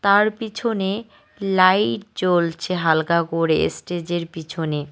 তার পিছনে লাইট জ্বলছে হালকা করে স্টেজের পিছনে।